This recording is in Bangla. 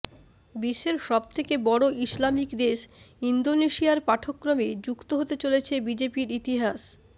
বিশ্বের সবথেকে বড় ইসলামিক দেশ ইন্দোনেশিয়ার পাঠ্যক্রমে যুক্ত হতে চলেছে বিজেপির ইতিহাস